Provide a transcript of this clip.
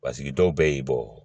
Paseke dɔw bɛ y'i bɔ